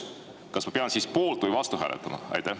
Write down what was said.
Kas ma pean siis poolt või vastu hääletama?